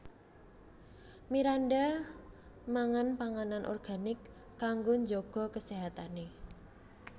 Miranda mangan panganan organik kanggo njaga keséhatane